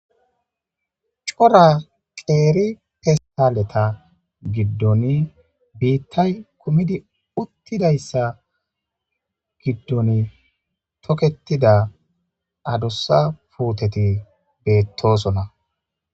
Cora qeri festaleta gidoni bitay kumidi utidaysa gidoni toketida adusa puteti betosona